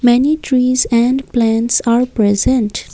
many trees and plants are present.